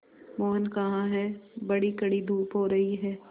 मोहन कहाँ हैं बड़ी कड़ी धूप हो रही है